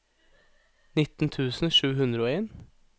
nitten tusen sju hundre og en